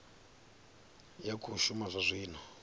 ya khou shuma zwa zwino